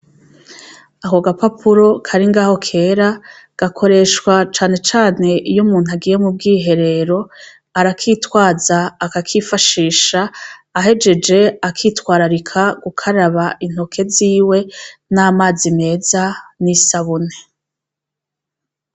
Ako gapapuro kari ngaho kera, gakoreshwa cane cane iy'umuntu agiye mu bwiherero arakitwaza akakifashisha, ahejeje akitwararika gukaraba intoke ziwe n'amazi meza n'isabune.